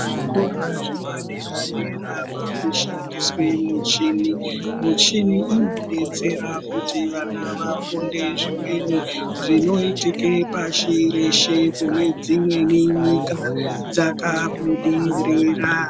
Zvikora zvepadera-dera makushandiswe muchini. Muchini inodetsera kuti vana vafunde zvimweni zvinoitike pashi reshe kune dzimweni nyika dzakabudirira.